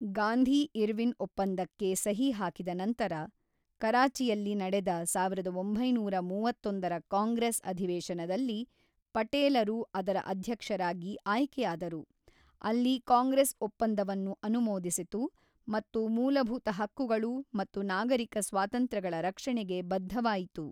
ಗಾಂಧಿ-ಇರ್ವಿನ್ ಒಪ್ಪಂದಕ್ಕೆ ಸಹಿ ಹಾಕಿದ ನಂತರ, ಕರಾಚಿಯಲ್ಲಿ ನಡೆದ ಸಾವಿರದ ಒಂಬೈನೂರ ಮೂವತ್ತೊಂದರ ಕಾಂಗ್ರೆಸ್ ಅಧಿವೇಶನದಲ್ಲಿ ಪಟೇಲರು ಅದರ ಅಧ್ಯಕ್ಷರಾಗಿ ಆಯ್ಕೆಯಾದರು, ಅಲ್ಲಿ ಕಾಂಗ್ರೆಸ್ ಒಪ್ಪಂದವನ್ನು ಅನುಮೋದಿಸಿತು ಮತ್ತು ಮೂಲಭೂತ ಹಕ್ಕುಗಳು ಮತ್ತು ನಾಗರಿಕ ಸ್ವಾತಂತ್ರ್ಯಗಳ ರಕ್ಷಣೆಗೆ ಬದ್ಧವಾಯಿತು.